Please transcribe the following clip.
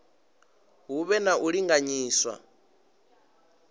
hu vhe na u linganyiswa